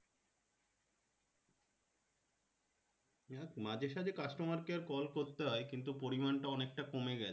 মাঝে সাজে customer care call করতে হয় কিন্তু পরিমান টা অনেকটা কমে গেছে